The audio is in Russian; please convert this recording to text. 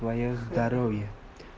твоё здоровье